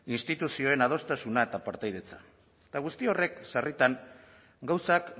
instituzioen adostasuna eta partaidetza eta guzti horrek sarritan gauzak